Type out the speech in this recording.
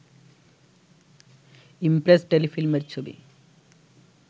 Impress টেলিফিল্মের ছবি